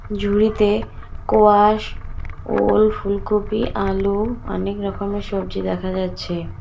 ঝুড়িতে কোয়াশ ওল ফুলকপি আলু অনেক রকমের সবজি দেখা যাচ্ছে।